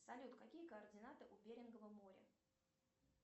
салют какие координаты у беренгова моря